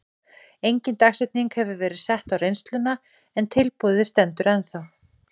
Engin dagsetning hefur verið sett á reynsluna en tilboðið stendur ennþá.